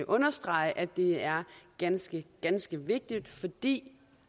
understrege at det er ganske ganske vigtigt fordi